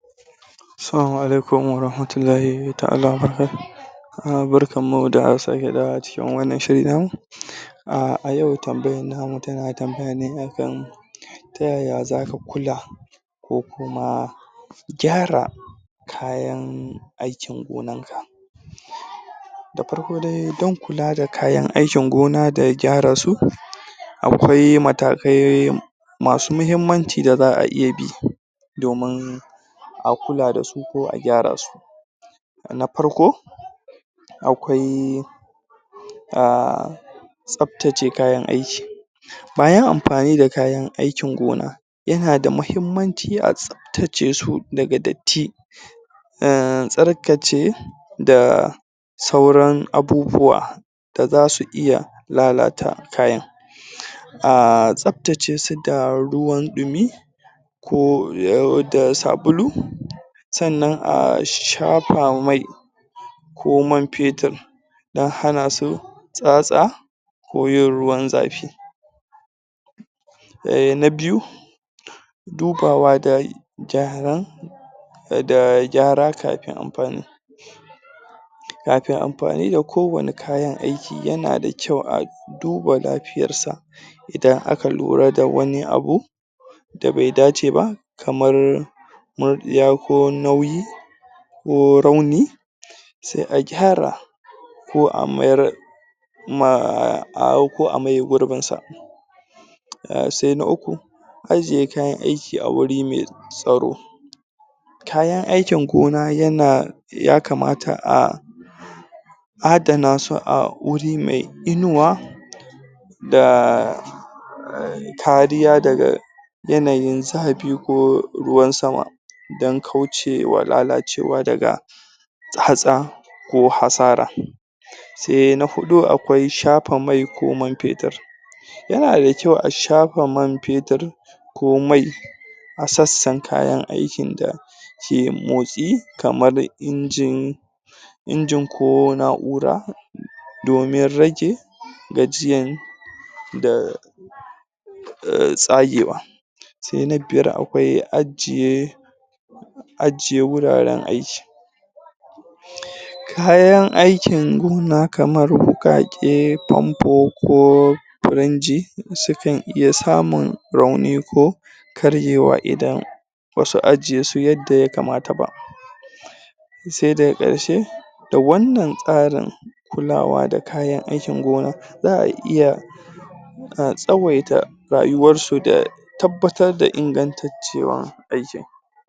Assalamu alikum wa rahmatullahi ta'ala wa barkatuhu! Barkanmu da sake dawowa cikin wannan shiri namu. A yau tambayar tamu tana tambaya ne a kan Ta yaya za ka kula ko kuma gyara kayan aikin gonarka. Farko dai do kula da kayan aikin gona da gyara su Akwai matakai masu muhimmanci da za a iya bi domin a kula da su ko a gyara su, na farko, akwai: um Tsaftace kayan aiki. Bayan amfani da kayana aikin gona, Yana da muhimmanci atsaftace su daga datti um tsarkace da sauran abubuwa da za su iya lalata kayan um Tsafatce su da ruwan ɗumi ko da sabulu, sannan a shafa mai ko man fetur don hana su tsatsa ko yin ruwan zafi. Na biyu, dubawa da gyara, da gyara kafin amfani. Kafin amfani da kowane kayan aiki, yana da kyau a duba lafiyarsa. Idan aka lura da wani abu da bai dace ba, kamar murɗiya ko nauyi ko rauni sai a gyara. Ko a mayar um ko a maye gurbinsa. Sai na uku, ajiye kayan aiki a wuri mai tsaro. Kayan aikin gona, ya kamata a adana su a wuri mai inuwa da kariya daga yanayin zafi ko ruwan sama don kauce wa lalacewa daga tsatsa ko hasara. Sai na huɗu, akwai shafa mai ko man fetur. Yana da kyau a shafa man fetur ko mai a sassan kayan aikin da ke motsi kamar injin injin ko na'ura domin rage gajiyan da tsagewa Sai na biyar, akwai ajiye ajiye wuraren aikin Kayan aikin gona kamar wuƙaƙe, famfo ko firinji sukan iya samun rauni ko karyewa idan ba su ajiye su yadda ya kamata ba. Sai daga ƙarshe. Da wanna tsarin kulawa da kayan aikin gona, za a iya tsawaita rayuwarsu da tabbatar da ingantuwar aikin.